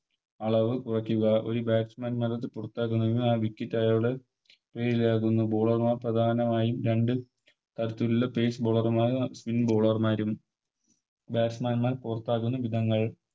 അളവ് ഒര് ഒര് Batsman പുറത്താക്കണമെങ്കിൽ ആ Wicket അയാള് Bowler മാർ പ്രധാനമായും രണ്ട് തരത്തിലുള്ള Phase bowler മാരും Spin bowler മാരും Batsman മാരെ പുറത്താക്കുന്ന വിധങ്ങൾ